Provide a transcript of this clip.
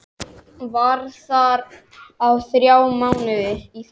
Var þar í þrjá mánuði.